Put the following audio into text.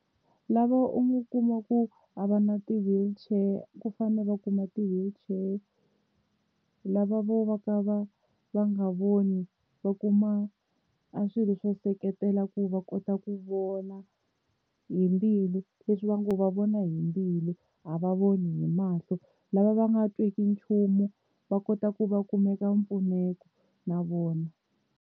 Lava u nga kuma ku a va na ti-wheelchair ku fanele va kuma ti wheelchair. Lava vo vo ka va va nga voni va kuma a swilo swo seketela ku ku va kota ku vona hi mbilu leswi va ngo va vona hi mbilu a va voni hi mahlo. Lava va nga tweki nchumu va kota ku va kumeka mpfuneto na vona.